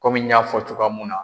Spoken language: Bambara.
Kɔmi n y'a fɔ cogoya mun na.